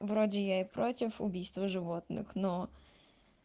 вроде я и против убийства животных но